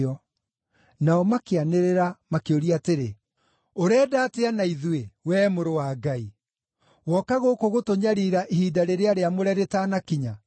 Nao makĩanĩrĩra, makĩũria atĩrĩ, “Ũrenda atĩa na ithuĩ, wee Mũrũ wa Ngai. Woka gũkũ gũtũnyariira ihinda rĩrĩa rĩamũre rĩtanakinya?”